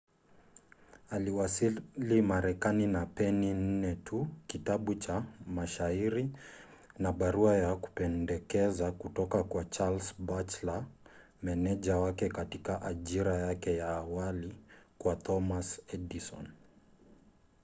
aliwasili marekani na peni 4 tu kitabu cha mashairi na barua ya kupendekeza kutoka kwa charles batchelor meneja wake katika ajira yake ya awali kwa thomas edison